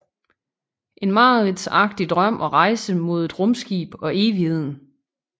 En mareridtsagtig drøm og rejse mod et rumskib og evigheden